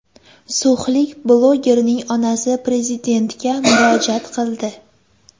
So‘xlik blogerning onasi Prezidentga murojaat qildi .